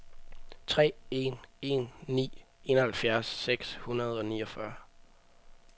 tre en en ni enoghalvfjerds seks hundrede og niogfyrre